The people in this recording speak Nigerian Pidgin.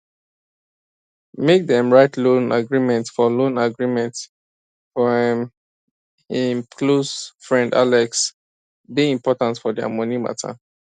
make dem write loan agreement for loan agreement for um hin close friend alex dey important for their money matter